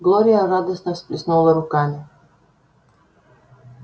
глория радостно всплеснула руками